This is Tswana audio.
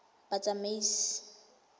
batsamaisi